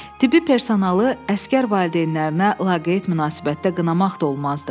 Tibbi personalı əsgər valideynlərinə laqeyd münasibətdə qınamaq da olmazdı.